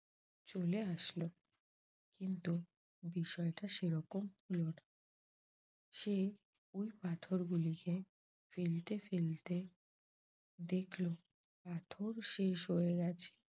চলে আসল কিন্তু বিষয়টা সেরকম হল না সে ওই পাথরতগুলিকে ফেলতে ফেলতে দেখল পাথর শেষ হয়ে গেছে